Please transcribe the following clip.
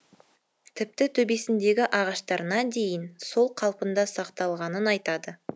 тіпті төбесіндегі ағаштарына дейін сол қалпында сақталғанын айтады